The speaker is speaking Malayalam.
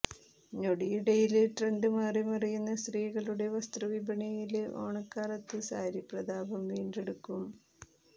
ഞൊടിയിടയില് ട്രെന്ഡ് മാറിമറിയുന്ന സ്ത്രീകളുടെ വസ്ത്രവിപണിയില് ഓണക്കാലത്ത് സാരി പ്രതാപം വീണ്ടെടുക്കും